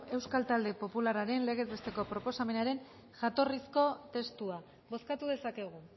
euskal talde popularraren legez besteko proposamenaren jatorrizko testua bozkatu dezakegu